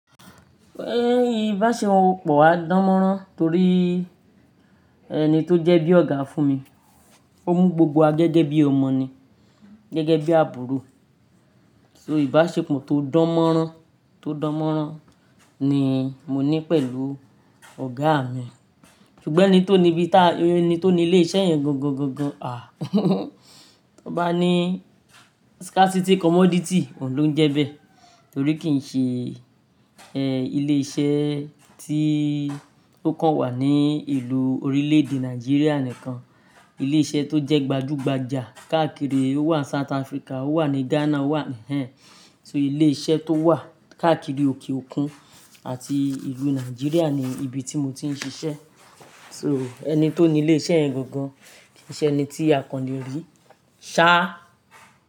Ẹ́ ìbáṣepọ̀ wa dánmọ́rán torí ẹni tó jẹ́ bí ọ̀gá fún mi, ó mú gbogbo wa gẹ́gẹ́ bí ọmọ ni, gẹ́gẹ́ bí àbúrò. So ìbáṣepọ̀ tó dánmọ́rán, tó dánmọ́rán ni mo ní pẹ̀lú ọ̀gá mi. Ṣùgbọ́n ẹni tó ní ibi tá-- ẹni tó ní ilé iṣẹ́ yẹn gangan, à, tón bá ní scarcity commodity, òun ló ń jẹ́ bẹ́ẹ̀ torí kì í ṣe, ẹ, ilé iṣẹ́ tí ó kàn wà ní ìlú orílẹ̀-èdè Nàìjíríà nìkan. Ilé iṣẹ́ tó jẹ́ gbajú gbajà káàkiri ó wà ní South Africa, ó wà ní Ghana, ó wà ń hẹ́. So ilé iṣẹ́ tó wà káàkiri òkè òkun àti ìlú Nàìjíríà ni ibi tí mo ti ń ṣiṣẹ́. So ẹni tó ní ilé iṣẹ́ yẹn gangan kì í ṣe ẹni tí àkànlé rí. Ṣá.